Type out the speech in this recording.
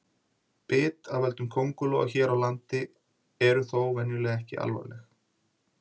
Bit af völdum köngulóa hér á landi eru þó venjulega ekki alvarleg.